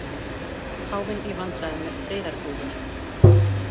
Páfinn í vandræðum með friðardúfur